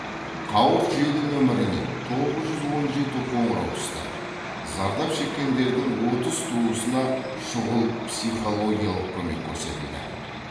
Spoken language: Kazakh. қауырт желі нөміріне тоғыз жүз он жеті қоңырау түсті зардап шеккендердің отыз туысына шұғыл психологиялық көмек көрсетілді